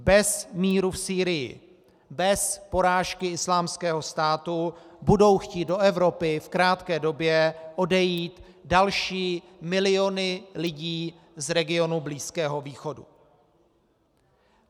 Bez míru v Sýrii, bez porážky Islámského státu budou chtít do Evropy v krátké době odejít další miliony lidí z regionu Blízkého východu.